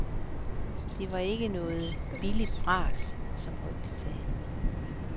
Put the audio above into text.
Det var ikke noget billigt bras, som rygtet sagde.